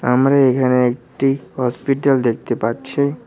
আমরা এখানে একটি হসপিটাল দেখতে পাচ্ছি।